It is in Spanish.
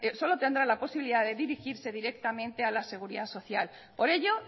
solo tendrán la posibilidad de dirigirse directamente a la seguridad social por ello